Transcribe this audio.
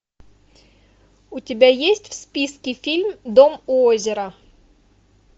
у тебя есть в списке фильм дом у озера